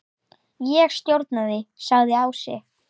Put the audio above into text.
Ég stjórna því, sagði Ási.